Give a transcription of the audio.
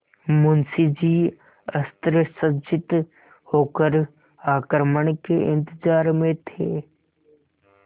मुंशी जी अस्त्रसज्जित होकर आक्रमण के इंतजार में थे